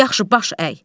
Yaxşı, baş əy.